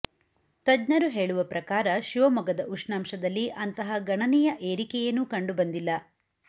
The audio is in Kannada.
ತಜ್ಞರು ಹೇಳುವ ಪ್ರಕಾರ ಶಿವಮೊಗ್ಗದ ಉಷ್ಣಾಂಶದಲ್ಲಿ ಅಂತಹ ಗಣನೀಯ ಏರಿಕೆಯೇನೂ ಕಂಡು ಬಂದಿಲ್ಲ